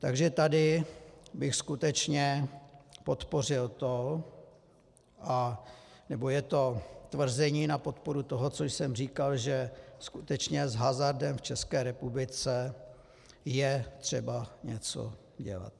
Takže tady bych skutečně podpořil to, nebo je to tvrzení na podporu toho, co jsem říkal, že skutečně s hazardem v České republice je třeba něco dělat.